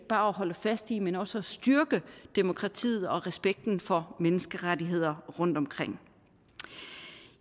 holde fast i men også at styrke demokratiet og respekten for menneskerettigheder rundtomkring